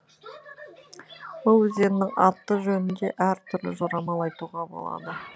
бұл өзеннің аты жөнінде әр түрлі жорамал айтуға болады